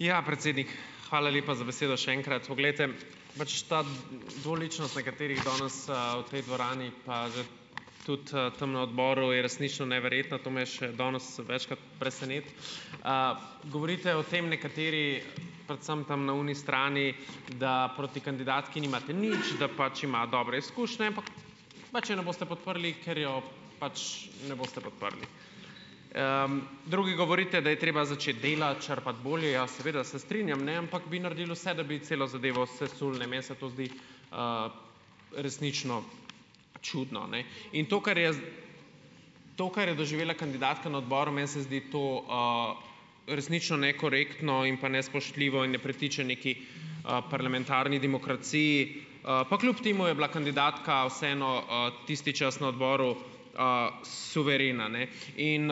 Ja, predsednik, hvala lepa za besedo še enkrat. Poglejte, pač ta dvoličnost nekaterih danes, v tej dvorani pa v tudi, tam na odboru je resnično neverjetno. To me še danes večkrat preseneti. Govorite o tem nekateri, predvsem tam na oni strani, da proti kandidatki nimate nič, da pač ima dobre izkušnje, ampak pač jo ne boste podprli, ker jo pač ne boste podprli. Drugi govorite, da je treba začeti delati, črpati bolje. Ja, seveda se strinjam ne, ampak bi naredili vse, da bi celo zadevo sesuli. Ne, meni se to zdi resnično čudno, ne. In to, kar je, to, kar je doživela kandidatka na odboru, meni se zdi to, resnično nekorektno in pa nespoštljivo in ne pritiče neki, parlamentarni demokraciji, pa kljub temu je bila kandidatka vseeno, tisti čas na odboru, suverena, ne, in,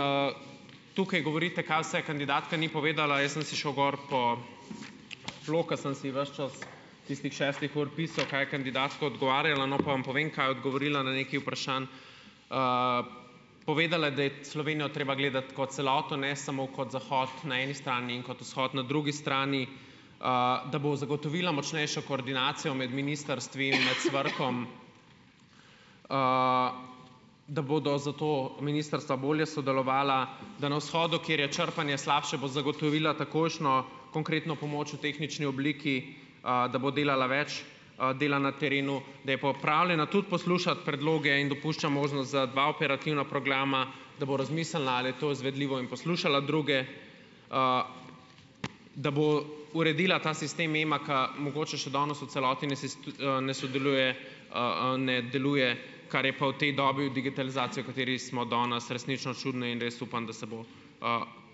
tukaj govorite kaj vse kandidatka ni povedala, jaz sem si šel gor po blok, ker sem si ves čas tistih šestih ur pisal, kaj kandidatka odgovarjala. No, pa vam povem, kaj je odgovorila na nekaj vprašanj. Povedala je, da je Slovenijo treba gledati kot celoto, ne samo kot zahod na eni strani in kot vzhod na drugi strani, da bo zagotovila močnejšo koordinacijo med ministrstvi in med SVRK-om, da bodo za to ministrstva bolje sodelovala, da na vzhodu, kjer je črpanje slabše, bo zagotovila takojšno konkretno pomoč v tehnični obliki, da bo delala več, dela na terenu, da je pripravljena tudi poslušati predloge in dopušča možnost za dva operativna programa, da bo razmislila, ali je to izvedljivo in poslušala druge, da bo uredila ta sistem EMA, kaj mogoče še danes v celoti ne ne sodeluje, ne deluje, kar je pa v tej dobi digitalizacije, v kateri smo danes, resnično čudno, in da, jaz upam, da se bo,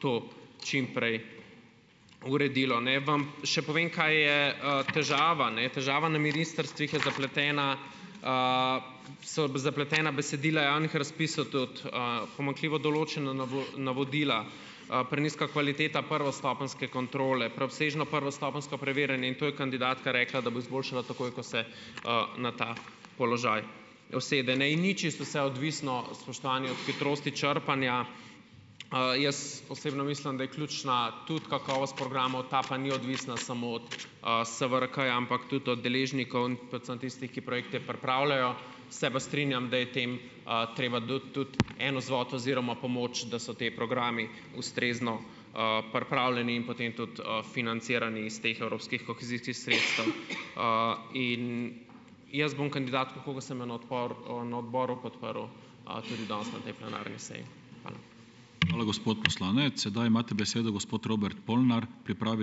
to čimprej uredilo. Naj vam še povem, kaj je, težava, ne, težava na ministrstvih je zapletena, so zapletena besedila javnih razpisov, tudi, pomanjkljivo določena navodila, prenizka kvaliteta prvostopenjske kontrole, preobsežno prvostopenjsko preverjanje, in to je kandidatka rekla, da bo izboljšala takoj, ko se, na ta položaj usede. Ne. In ni čisto vse odvisno, spoštovani, od hitrosti črpanja, jaz osebno mislim, da je ključna tudi kakovost programov, ta pa ni odvisna samo od, SVRK-ja, ampak tudi od deležnikov, in predvsem tistih, ki projekte pripravljajo, se pa strinjam, da je tem, treba dati tudi en vzvod oziroma pomoč, da so ti programi ustrezno, pripravljeni in potem tudi, financirani iz teh evropskih kohezijskih sredstev. in. Jaz bom kandidatko, tako kot sem jo na na odboru podprl, tudi danes na tej seji. Hvala.